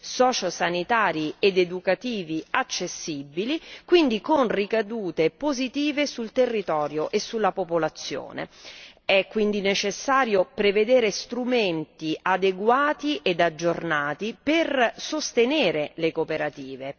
sociosanitari ed educativi accessibili, con ricadute positive sul territorio e sulla popolazione. È pertanto necessario prevedere strumenti adeguati ed aggiornati per sostenere le cooperative.